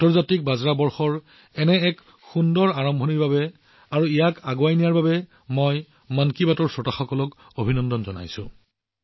আন্তৰ্জাতিক বাজৰা বৰ্ষৰ এনে এক সুন্দৰ আৰম্ভণিৰ বাবে আৰু ইয়াক নিৰন্তৰে আগুৱাই নিয়াৰ বাবে মই মন কী বাতৰ শ্ৰোতাসকলক অভিনন্দন জনাইছো